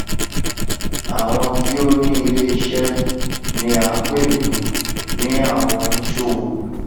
àwọn tí ó ni iléiṣẹ ni à ń pè ní ní àwon oníṣòwò